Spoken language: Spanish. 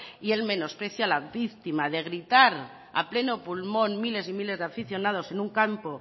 y el menosprecio a la víctima de gritar a pleno pulmón miles y miles de aficionados en un campo